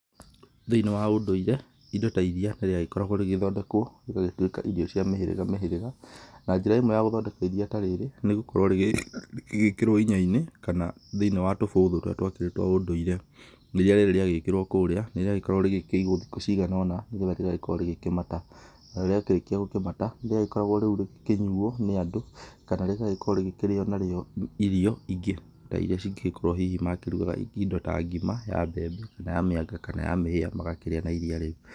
Thĩinĩ wa ũndũire, indo ta iria nĩ rĩagĩkoragwo rĩgĩthondekwo rĩgagĩtuĩka irio cia mĩhĩrĩga mĩhĩrĩga, na njĩra ĩmwe ya gũthondeka iria ta rĩrĩ nĩ gũkorwo rĩgĩgĩkĩrwo inya-inĩ kana thĩ-inĩ wa tũbũthũ tũrĩa twakĩrĩ twa ũndũire. Iria rĩrĩ rĩagĩkĩrwo kũrĩa, nĩ rĩagĩkoragwo rĩgĩkĩigwo thikũ cigana ũna, nĩgetha rĩgagĩkorwo rĩgĩkĩmata, narĩo rĩakĩrĩkia gũkĩmata, nĩ rĩagĩkoragwo rĩu rĩgĩkĩnyuo nĩ andũ kana rĩgagĩkorwo rĩgĩkĩrĩo narĩo irio ingĩ ta iria cingĩgĩkoragwo hihi makĩrugaga indo ta ngima ya mbembe kana ya mĩanga kana ya mĩhĩa magakĩrĩa na iria rĩu.